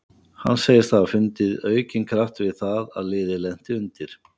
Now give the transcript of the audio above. Hann segist hafa fundið aukinn kraft við það að liðið lenti undir.